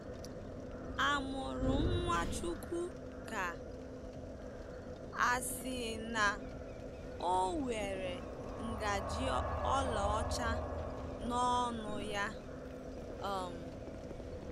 A mụrụ Nwachukwu ka a sị na o were ngaji ọlaọcha n'ọnụ ya? um